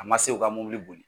A ma se o ka mɔbili boli.